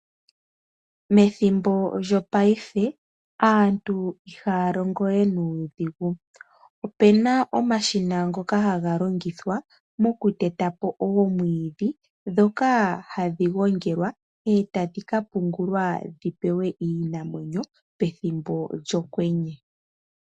Methimbo lyopaife aantu ihaya longowe nuudhigu opuna omashina ngoka haga longithwa moku tetapo oomwiidhi ndhoka hadhi gongelwa etadhi ka pungulwa dhi pewe iinamwenyo pethimbo lyokwenye.